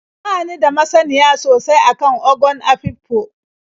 Ba ni da masaniya sosai a kan Ogon Afikpo.